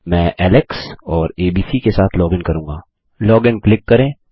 मैं एलेक्स और एबीसी के साथ लॉगिन करूँगा लॉग इन क्लिक करें